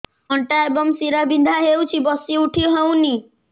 ଅଣ୍ଟା ଏବଂ ଶୀରା ବିନ୍ଧା ହେଉଛି ବସି ଉଠି ହଉନି